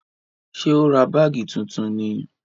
Ṣé ó ra báàgì tuntun ni?